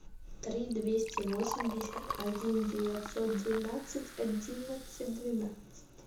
три двести восемьдесят один девятьсот двенадцать одиннадцать двенадцать